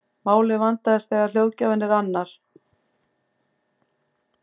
málið vandast þegar hljóðgjafinn er annar